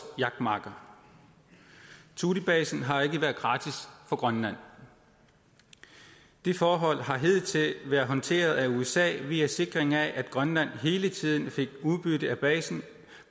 jagtmarker thulebasen har ikke været gratis for grønland det forhold har hidtil været håndteret af usa via en sikring af at grønland hele tiden fik udbytte af basen